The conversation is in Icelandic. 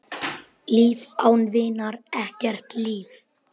Líf án vinar, ekkert líf.